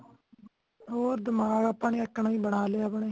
ਹੋਰ ਦਮਾਗ ਆਪਾ ਨੇ ਈਕਣ ਹੀ ਬਣਾ ਲੇ ਆਪਣੇ